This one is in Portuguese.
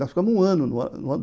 Nós ficamos um ano.